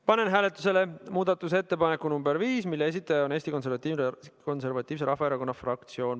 Panen hääletusele muudatusettepaneku nr 5, mille esitaja on Eesti Konservatiivse Rahvaerakonna fraktsioon.